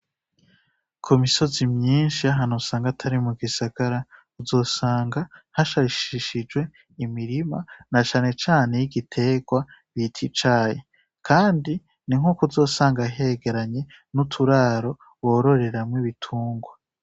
Ku misozi myinshi ahano usanga atari mu gisagara uzosanga hashashishijwe imirima na shanecane y'igiterwa bita icahe, kandi ni nk'uko uzosanga hegeranye n'uturaro wororeramwo ibitungwa.